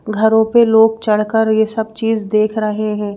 घरों पर लोग चढ़कर यह सब चीज देख रहे हैं।